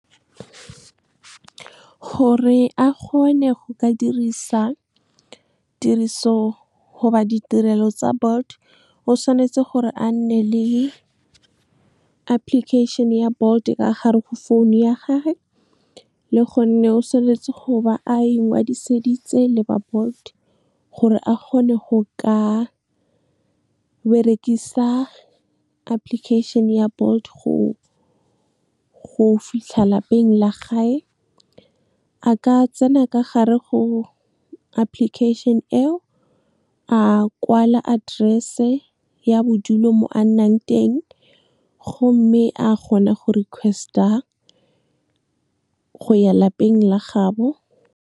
Gore a kgone go ka dirisa tiriso goba ditirelo tsa Bolt, o tshwanetse gore a nne le application ya Bolt ka gare go founu ya gage, le gonne o tshwanetse go ba a ingwadiseditse le ba Bolt, gore a kgone go ka berekisa application ya Bolt go fitlha lapeng la gage. Ka tsena ka gare go application e o, a kwala address-e ya bodulo mo a nnang teng, gomme a kgona go request-a go ya lapeng la gaabo.